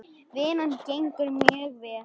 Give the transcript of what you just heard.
Vinnan gengur mjög vel.